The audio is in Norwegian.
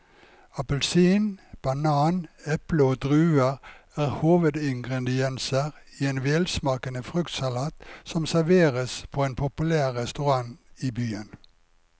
Appelsin, banan, eple og druer er hovedingredienser i en velsmakende fruktsalat som serveres på en populær restaurant i byen.